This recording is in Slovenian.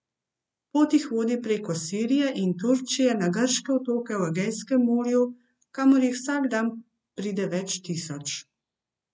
Pot jih vodi preko Sirije in Turčije na grške otoke v Egejskem morju, kamor jih vsak dan pride več tisoč.